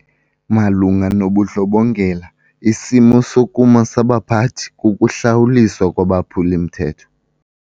Malunga nobundlobongela isimo sokuma sabaphathi kukuhlawuliswa kwabaphuli-mthetho.